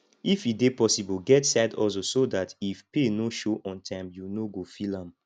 if e dey possible get side hustle so dat if pay no show on time you no go feel am